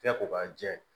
Kɛ ko k'a jɛ